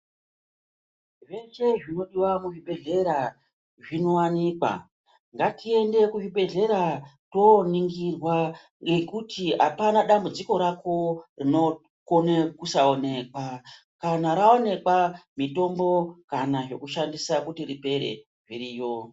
Zveshe zvinodiwa kuzvibhedhlera zvinowanikwa ngatiende kuzvibhedhlera toningirwa nekuti hapana dambudziko rako rinokona kusaonekwa, kana raonekwa mitombo, zvekushandisa kuti ripere zviriyo.